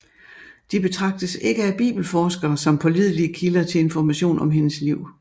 De betragtes ikke af bibelforskere som pålidelige kilder til information om hendes liv